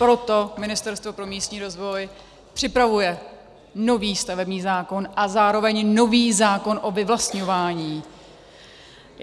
Proto Ministerstvo pro místní rozvoj připravuje nový stavební zákon a zároveň nový zákon o vyvlastňování.